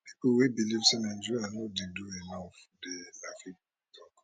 pipo wey believe say nigeria no dey do enough dey